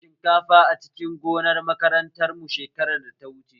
Mun girbe shinkafa a cikin gonar makaranta mu shekarar da ta wuche